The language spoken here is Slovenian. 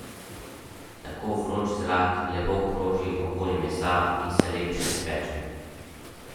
Tako vroč zrak lepo kroži okoli mesa in se lepše speče.